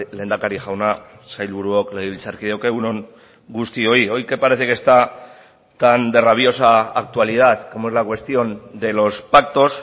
lehendakari jauna sailburuok legebiltzarkideok egun on guztioi hoy que parece que está tan de rabiosa actualidad como es la cuestión de los pactos